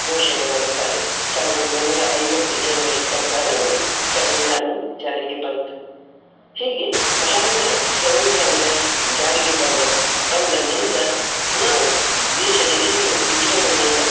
ಘೋಷಣೆ ಮಾಡುತ್ತಾರೆ ಸಾವಿರದ ಒಂಬೈನೂರ ಐವತ್ತು January ಇಪಾತ್ತಾರರಂದು ಸಂವಿಧಾನವು ಜಾರಿಗೆ ಬಂತು. ಹೀಗೆ ಭಾರತ ಸಂವಿಧಾನದ ಜಾರಿಗೆ ತಂದ ಬಂದಂದಿನಿಂದ ನಾವು ದೇಶದ ಎಲ್ಲಡೆ ವಿಜೃಂಭಣೆಯಿಂದ.